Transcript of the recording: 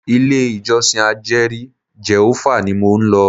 Ilé ìjọsìn ajeri Jèhófà ní mo ń lọ.